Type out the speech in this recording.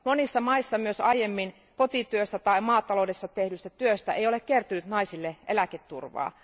Monissa maissa myös aiemmin kotityöstä tai maataloudessa tehdystä työstä ei ole kertynyt naisille eläketurvaa.